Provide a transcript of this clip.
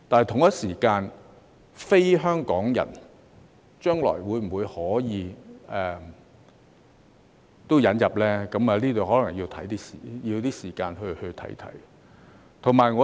至於非香港人將來可否一併引入，這方面可能需要一些時間再作考慮。